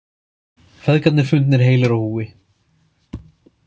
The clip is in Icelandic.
Feðgarnir fundnir heilir á húfi